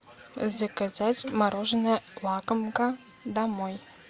заказать мороженое лакомка домой